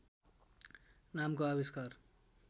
नामको आविष्कार